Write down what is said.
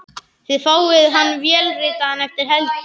Þið fáið hann vélritaðan eftir helgi.